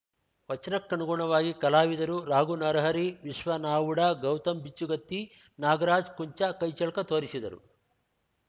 ವಚನಕ್ಕನುಗುಣವಾಗಿ ಕಲಾವಿದರು ರಾಘುನರಹರಿ ವಿಶ್ವನಾವುಡಾ ಗೌತಮ್‌ ಬಿಚ್ಚುಗತ್ತಿ ನಾಗರಾಜ್‌ ಕುಂಚ ಕೈಚಳಕ ತೋರಿಸಿದರು